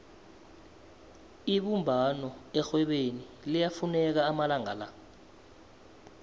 ibumbano erhwebeni liyafuneka amalanga la